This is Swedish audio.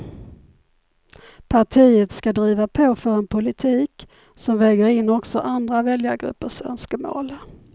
Partiet ska driva på för en politik som väger in också andra väljargruppers önskemål.